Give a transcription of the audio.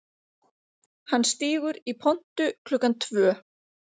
Hann stígur í pontu klukkan tvö